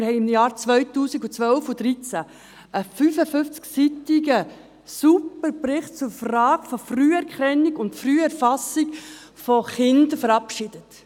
In den Jahren 2012 und 2013 verabschiedeten wir einen ausgezeichneten 55-seitigen Bericht.